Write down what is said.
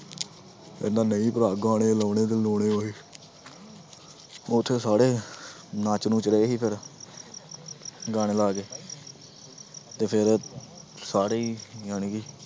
ਕਹਿੰਦਾ ਨਹੀਂ ਭਰਾ ਗਾਣੇ ਲਾਉਣੇ ਤੇ ਲਾਉਣੇ ਉਹੀ ਉੱਥੇ ਸਾਰੇ ਨੱਚ ਨੁੱਚ ਰਹੇ ਸੀ ਫਿਰ ਗਾਣੇ ਲਾ ਕੇ ਤੇ ਫਿਰ ਸਾਰੇ ਹੀ ਜਾਣੀ ਕਿ